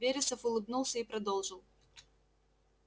вересов улыбнулся и продолжил